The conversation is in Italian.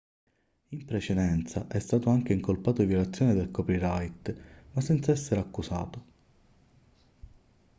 in precedenza è stato anche incolpato di violazione del copyright ma senza essere accusato